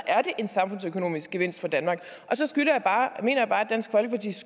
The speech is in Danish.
er det en samfundsøkonomisk gevinst for danmark så